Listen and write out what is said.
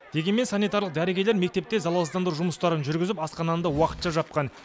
дегенмен санитарлық дәрігерлер мектепте залалсыздандыру жұмыстарын жүргізіп асхананы да уақытша жапқан